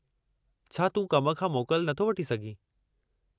छा तूं कम खां मोकल नथो वठी सघीं?